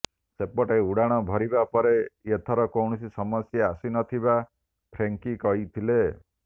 ସେପଟେ ଉଡ଼ାଣ ଭରିବା ପରେ ଏଥର କୌଣସି ସମସ୍ୟା ଆସି ନ ଥିବା ଫ୍ରେଙ୍କି କହିଥିଲେ